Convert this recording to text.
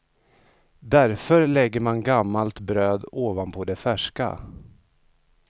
Därför lägger man gammalt bröd ovanpå det färska.